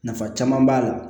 Nafa caman b'a la